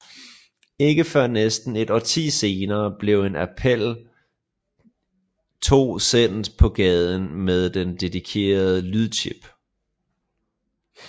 Ikke før næsten et årti senere blev en Apple II sendt på gaden med en dedikeret lydchip